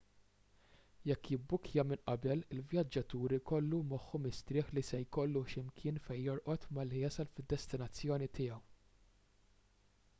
jekk jibbukkja minn qabel il-vjaġġatur ikollu moħħu mistrieħ li se jkollu x'imkien fejn jorqod malli jasal fid-destinazzjoni tiegħu